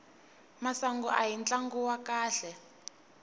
masangu ahi tlangu wa kahle